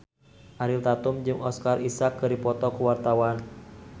Ariel Tatum jeung Oscar Isaac keur dipoto ku wartawan